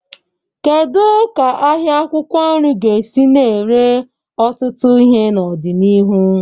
Kedu ka ahịa akwụkwọ nri ga-esi na-ere ọtụtụ ihe n'ọdịniihu?